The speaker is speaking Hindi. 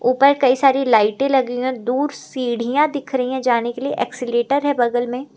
ऊपर कई सारी लाइटें लगी हुई हैं दूर सीढ़ियां दिख रही हैं जाने के लिए एक्सीलेटर है बगल में।